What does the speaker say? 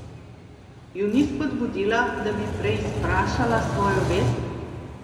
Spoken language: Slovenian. Ju ni spodbudila, da bi preizprašala svojo vest?